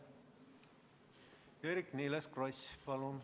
Eerik-Niiles Kross, palun!